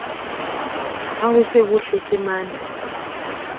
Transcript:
ha ho se ho hlekemane